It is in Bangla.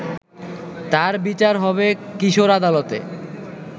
তার বিচার হবে কিশোর আদালতে